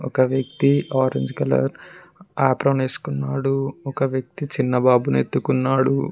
ఒక వ్యక్తి orange colour apron వేసుకున్నాడు ఒక వ్యక్తి చిన్న బాబును ఎత్తుకున్నాడు.